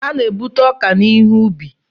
A na-ebute ọka n'ihe ubi.